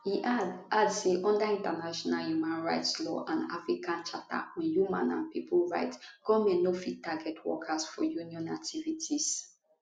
e add add say under international human rights law and african charter on human and pipo right goment no fit target workers for union activities